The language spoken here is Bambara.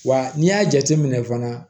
Wa n'i y'a jateminɛ fana